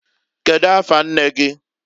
Kedu afa nne gi?